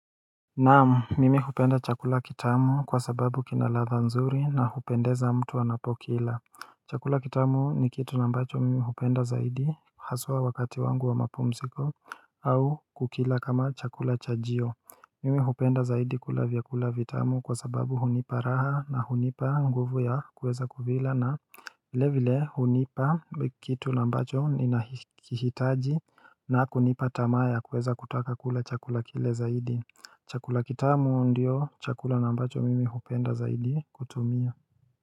Naam, mimi hupenda chakula kitamu kwa sababu kinaladha nzuri na hupendeza mtu anapokila chakula kitamu ni kitu ambacho mimi hupenda zaidi haswa wakati wangu wa mapumziko au kukila kama chakula chajio Mimi hupenda zaidi kula vyakula vitamu kwa sababu hunipa raha na hunipa nguvu ya kueza kuvila na vile vile hunipa kitu ambacho ninahitaji na kunipa tamaa ya kuweza kutaka kula chakula kile zaidi chakula kitamu ndio chakula nambacho mimi hupenda zaidi kutumia.